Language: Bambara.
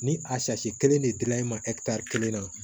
Ni a kelen de dila i ma kelen na